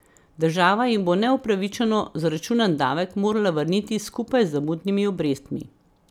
Država jim bo neupravičeno zaračunan davek morala vrniti skupaj z zamudnimi obrestmi.